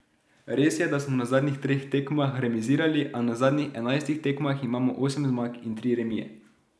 Res je, da smo na zadnjih treh tekmah remizirali, a na zadnjih enajstih tekmah imamo osem zmag in tri remije.